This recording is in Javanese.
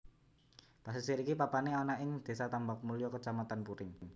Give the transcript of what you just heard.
Pasisir iki papané ana ing Désa Tambakmulya Kacamatan Puring